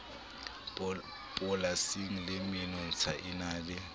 polasing le menontsha e na